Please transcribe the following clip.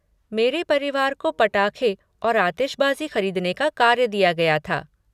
मेरे परिवार को पटाखे और आतिशबाजी ख़रीदने का कार्य दिया गया था।